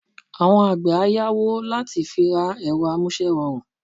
Àwọn àgbẹ̀ á yáwó láti fi ra ẹ̀rọ amúṣẹ́rọrùn